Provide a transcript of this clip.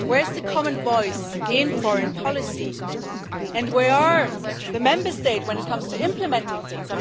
Where is the common voice in foreign policy, and where are the Member States when it comes to implementing things?